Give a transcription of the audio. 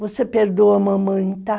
Você perdoa a mamãe, tá?